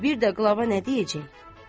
Və bir də qlava nə deyəcək?